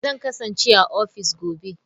Zan kasance a ofis gobe.